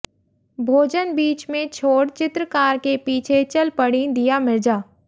भोजन बीच में छोड़ चित्रकार के पीछे चल पड़ीं दीया मिर्जा